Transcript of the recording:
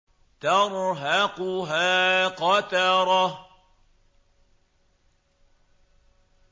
تَرْهَقُهَا قَتَرَةٌ